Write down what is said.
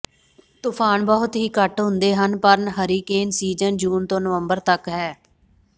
ਤੂਫਾਨ ਬਹੁਤ ਹੀ ਘੱਟ ਹੁੰਦੇ ਹਨ ਪਰ ਹਰੀਕੇਨ ਸੀਜ਼ਨ ਜੂਨ ਤੋਂ ਨਵੰਬਰ ਤਕ ਹੈ